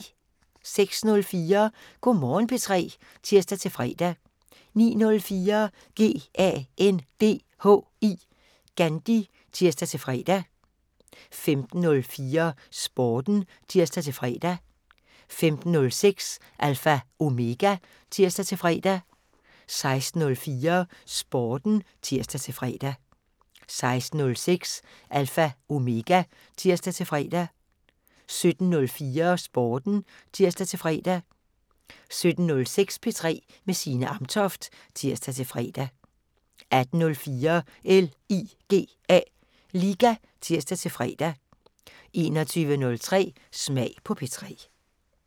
06:04: Go' Morgen P3 (tir-fre) 09:04: GANDHI (tir-fre) 15:04: Sporten (tir-fre) 15:06: Alpha Omega (tir-fre) 16:04: Sporten (tir-fre) 16:06: Alpha Omega (tir-fre) 17:04: Sporten (tir-fre) 17:06: P3 med Signe Amtoft (tir-fre) 18:04: LIGA (tir-fre) 21:03: Smag på P3